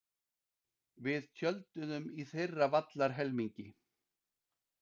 Við tjölduðum í þeirra vallarhelmingi.